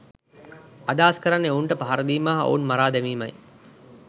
අදහස් කරන්නේ ඔවුන්ට පහර දීම හා ඔවුන් මරා දැමීමයි